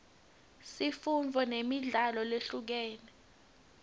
sifundzo nemidlalo lehlukile